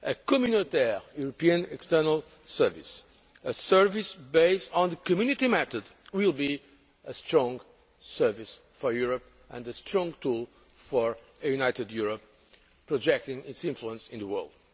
A communautaire European external service, a service based on the Community method, will be a strong service for Europe and a strong tool for a united Europe projecting its influence in the world.